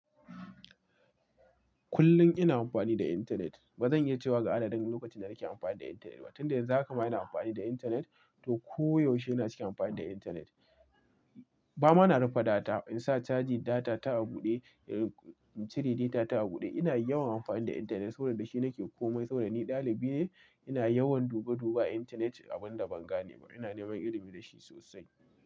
Kullum ina amfani da intanet. Ba zan iya cewa ga adadin lokacin da nake amfani da intanet ba. Tun da yanzu haka ma ina amfani da intanet, to koyaushe ina ciki amfani da intanet. Ba ma na rufe data, in sa caji data ta a buɗe, cire data ta a buɗe. Ina yawan amfani da intanet, saboda shi nake komai. Saboda ni ɗalibi ne, ina yawan duba duba a intanet a ban da ban gane ba. Ina neman ilimi da shi sosai.